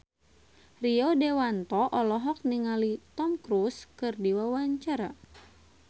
Rio Dewanto olohok ningali Tom Cruise keur diwawancara